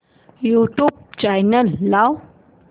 YouTube channel लाव